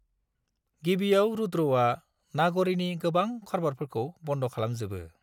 गिबिआव रुद्रआ नाग'रीनि गोबां खारबारफोरखौ बन्द खालामजोबो।